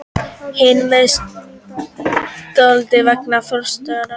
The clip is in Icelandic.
Hinn meðstjórnandinn var eiginkona forstjórans.